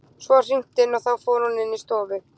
Svo var hringt inn og þá fór hún inn í stofu.